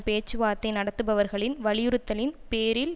பேச்சு வார்த்தை நடத்துபவர்களின் வலியுறுத்தலின் பேரில்